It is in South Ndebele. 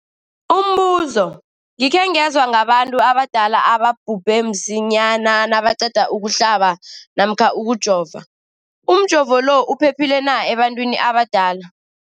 Umbuzo, gikhe ngezwa ngabantu abadala ababhubhe msinyana nabaqeda ukuhlaba namkha ukujova. Umjovo lo uphephile na ebantwini abadala?